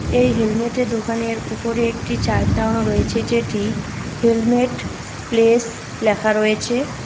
এই হেলমেট এর দোকান এর উপরে একটি চার্ট টাঙানো রয়েছে যেটি হেলমেট প্লেস লেখা রয়েছে।